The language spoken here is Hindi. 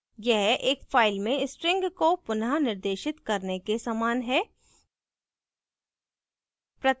यह एक file में string को पुनः निर्देशित करने के समान है